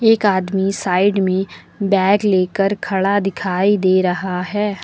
एक आदमी साइड में बैग लेकर खड़ा दिखाई दे रहा है।